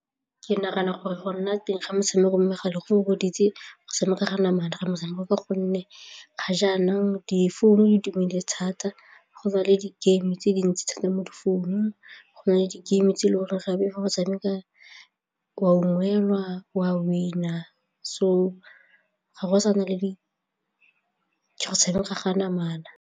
Ke nagana gore go nna teng ga metshameko mo megaleng go fokoditse go tshameka ka namana motshameko ka gonne ga jaanong difounu di tumile thata go na le di-game-e tse dintsi thata mo difounung, go na le di-game-e tse e le gore gape fa go tshameka o a ungwelwa, o a win-a so ga go sa na le di tshameka ka namana.